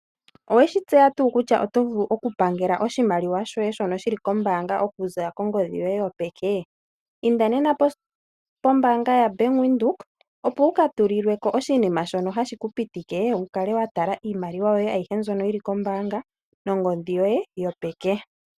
Owe shi tseya tuu kutya oto vulu okupangela oshimaliwa shoye shono shili kombaanga okuza kongodhi yoye yopeķe? Inda nena pombaanga yaBank Windhoek, opo wu ka tulilwe ko oshinima shono hashi ku pitike wu kale wa tala iimaliwa yoye ayihe mbyono yi li kombaanga nongodhi yoye yopeke.